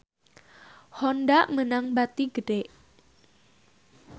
Honda meunang bati gede